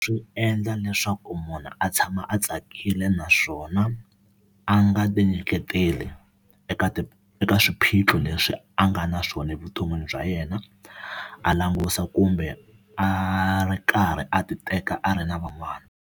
Swi endla leswaku munhu a tshama a tsakile naswona a nga ti nyiketeli eka ti eka swiphiqo leswi a nga na swona evuton'wini bya yena a langusa kumbe a ri karhi a ti teka a ri na van'wana.